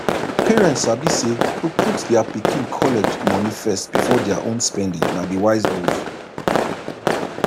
parents sabi say to put dia pikin college money first before dia own spending na di wise move